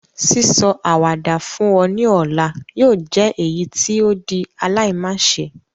Sísọ àwàdà fún ọ ni ọ̀la yóò jẹ èyítí o di aláimáse